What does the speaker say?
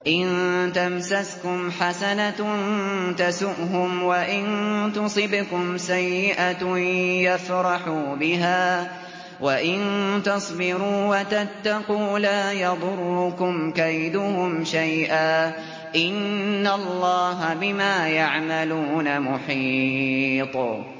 إِن تَمْسَسْكُمْ حَسَنَةٌ تَسُؤْهُمْ وَإِن تُصِبْكُمْ سَيِّئَةٌ يَفْرَحُوا بِهَا ۖ وَإِن تَصْبِرُوا وَتَتَّقُوا لَا يَضُرُّكُمْ كَيْدُهُمْ شَيْئًا ۗ إِنَّ اللَّهَ بِمَا يَعْمَلُونَ مُحِيطٌ